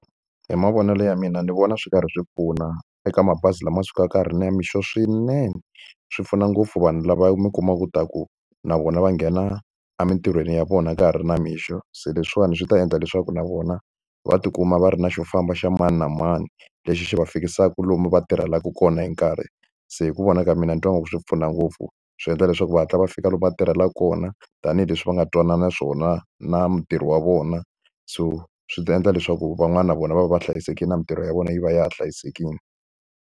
Hi mavonelo ya mina ni vona swi karhi swi pfuna eka mabazi lama sukaka ka ha ri namixo swinene. Swi pfuna ngopfu vanhu lava mi kumaka ta ku na vona va nghena emintirhweni ya vona ka ha ri namixo, se leswiwani swi ta endla leswaku na vona va tikuma va ri na xo famba xa mani na mani lexi xi va fikisaka lomu va tirhelaka kona hi nkarhi. Se hi ku vona ka mina ni twa ingaku swi pfuna ngopfu, swi endla leswaku va hatla va fika lomu va tirhelaka kona. Tanihileswi va nga twanana swona na mutirhi wa vona, so swi ta endla leswaku van'wana na vona va va va hlayisekile na mintirho ya vona yi va ya ha hlayisekile.